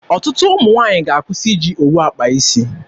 Ọtụtụ ụmụ nwaanyị ga-akwụsị iji owu akpa isi.